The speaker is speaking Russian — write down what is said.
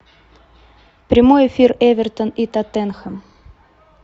прямой эфир эвертон и тоттенхэм